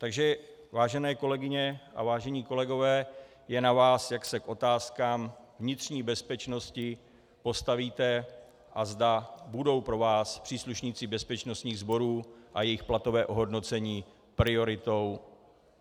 Takže vážené kolegyně a vážení kolegové, je na vás, jak se k otázkám vnitřní bezpečnosti postavíte a zda budou pro vás příslušníci bezpečnostních sborů a jejich platové ohodnocení prioritou...